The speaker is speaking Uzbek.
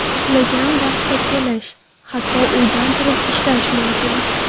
Xohlagan vaqtda kelish, hatto uydan turib ishlash mumkin.